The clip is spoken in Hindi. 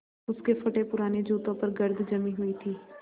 उसके फटेपुराने जूतों पर गर्द जमी हुई थी